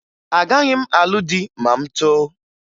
Agaghị m alụ di ma m too